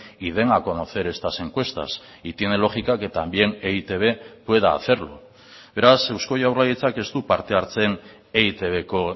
y den a conocer estas encuestas y tiene lógica que también e i te be pueda hacerlo beraz euzko jaurlaritzak ez du parte hartzen eitbko